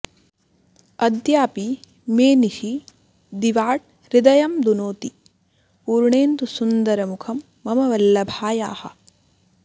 अद्यापि मे निशि दिवाट् हृदयं दुनोति पूर्णेन्दुसुन्दरमुखं मम वल्लभायाः